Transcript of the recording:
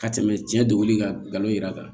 Ka tɛmɛ cɛ dogoli kan ngalon yɛrɛ kan